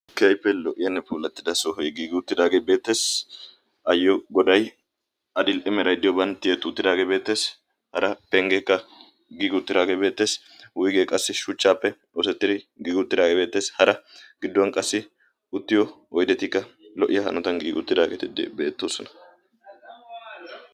kiaippe lo77iyaane puulattida soohoi giiguuttiraagee beettees ayyo godai adil7 imeraidiyooban tiye tuutiraagee beettees hara penggeekka giiguuttiraagee beettees wuigee qassi shuchchaappe oosettiri giig uuttiraagee beettees hara gidduwan qassi uttiyo oidetikka lo77iyaa hanotan giiguuttiraageeti beettoosona